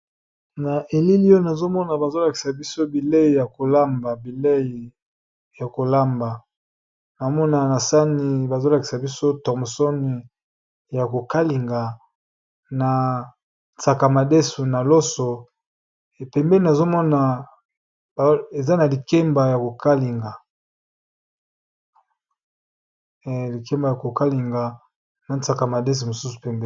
Na elilion azomona bazolakisa biso bilei ya kolamba bilei ya kolamba namona na sani bazolakisa biso thomson ya ade na loso likemba ya kokalinga na sakamades mosus.